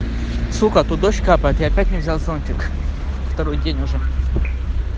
сука тут дождь капает я опять не взял зонтик второй день уже